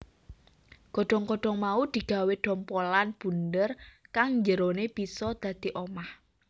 Godhong godhong mau digawé dhompolan bunder kang njerone bisa dadi omah